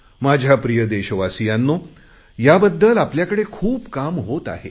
माझ्या प्रिय देशवासियांनो याबद्दल आपल्याकडे खूप काम होत आहे